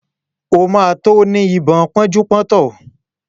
O ma tó ní ibà pánjúpọ́tàn